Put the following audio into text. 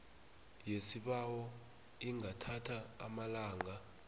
yesibawo ingathatha amalanga